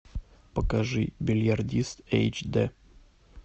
покажи бильярдист эйч дэ